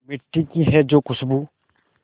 मिट्टी की है जो खुशबू